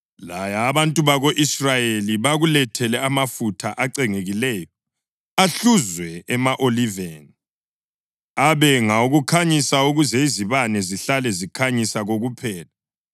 “Laya abantu bako-Israyeli bakulethele amafutha acengekileyo, ahluzwe ema-oliveni, abe ngawokukhanyisa ukuze izibane zihlale zikhanyisa kokuphela.